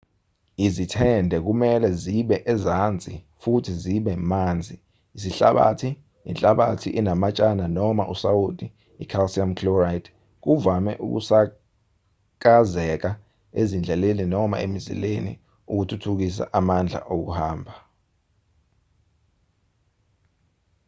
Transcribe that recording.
izithende kumelwe zibe ezansi futhi zibe banzi. isihlabathi inhlabathi enamatshana noma usawoti i-calcium chloride kuvame ukusakazeka ezindleleni noma emizileni ukuthuthukisa amandla okubamba